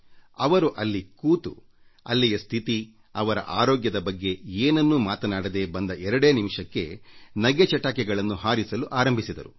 ಅವರು ಅಲ್ಲಿ ಕೂತು ಅಲ್ಲಿಯ ಸ್ಥಿತಿ ಅವರ ಆರೋಗ್ಯದ ಬಗ್ಗೆ ಏನನ್ನೂ ಮಾತಾಡದೇ ಬಂದ 2 ನಿಮಿಷಕ್ಕೇ ನಗೆ ಚಟಾಕಿಗಳನ್ನು ಹಾರಿಸಲು ಆರಂಭಿಸಿದರು